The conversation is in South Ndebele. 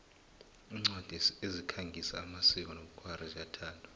incwadi ezikhangisa amasiko nobkhwari ziyathandwa